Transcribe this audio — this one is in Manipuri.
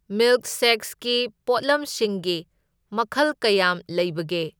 ꯃꯤꯜꯛꯁꯦꯛꯁꯀꯤ ꯄꯣꯠꯂꯝꯁꯤꯡꯒꯤ ꯃꯈꯜ ꯀꯌꯥꯝ ꯂꯩꯕꯒꯦ?